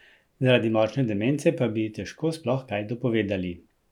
Zaradi močne demence pa bi ji težko sploh kaj dopovedali.